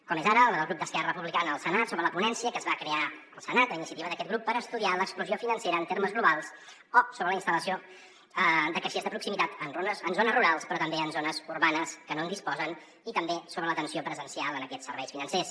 com és ara la del grup d’esquerra republicana al senat sobre la ponència que es va crear al senat a iniciativa d’aquest grup per estudiar l’exclusió financera en termes globals o sobre la instal·lació de caixers de proximitat en zones rurals però també en zones urbanes que no en disposen i també sobre l’atenció presencial en aquests serveis financers